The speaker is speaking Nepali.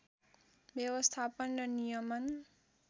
व्यवस्थापन र नियमन